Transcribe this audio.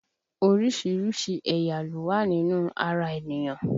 Orísìírísìí ẹ̀yà ló wá nínú ara ènìyàn